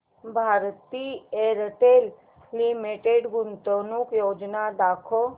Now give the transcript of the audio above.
Bharti Airtel limited गुंतवणूक योजना दाखव